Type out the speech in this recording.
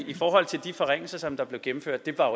i forhold til de forringelser som blev gennemført vil jeg